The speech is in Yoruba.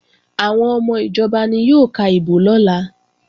Àwọn ọmọ ìjọba ni yóò ka ìbò lọ́la